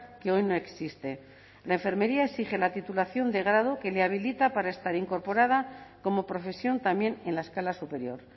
que hoy no existe la enfermería exige la titulación de grado que le habilita para estar incorporada como profesión también en la escala superior